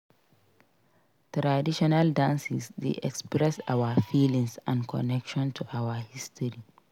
Traditional dances dey express our feelings and connection to our history.